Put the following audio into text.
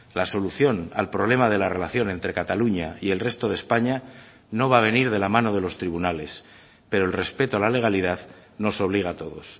la solución al problema de la relación entre cataluña y el resto de españa no va a venir de la mano de los tribunales pero el respeto a la legalidad nos obliga a todos